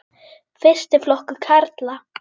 Fyrsti flokkur karla.